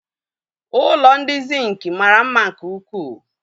Ụlọ ndị Zinc mara mma nke ukwuu